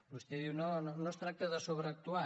vostè diu no no es tracta de sobreactuar